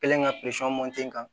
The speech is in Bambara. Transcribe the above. Kelen ka kan